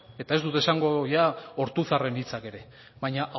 eta ez dut esango ortuzaren hitzak ere baina